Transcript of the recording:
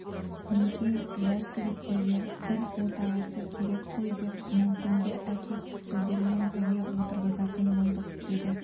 өңкей жас жігіттерге бір отағасы керек қой деп мәнтенді әкеп сіздермен бірге отырғызатын болдық деді